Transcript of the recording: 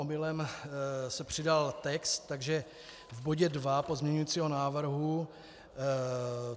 Omylem se přidal text, takže v bodě 2 pozměňovacího návrhu...